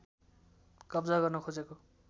कब्जा गर्न खोजेको